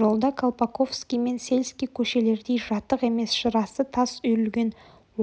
жол да колпаковский мен сельский көшелердей жатық емес жырасы тас үйілген